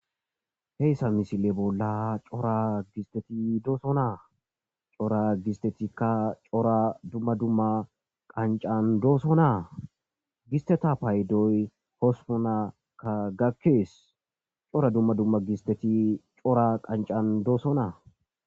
Heyssa misile bolla cora gisteti dooso naa cora gistetikka cora dumma dumma qancan dooso naa gisteta paydoy hosponaka gakkees cora dumma dumma gisteti cora qancan doosonaa.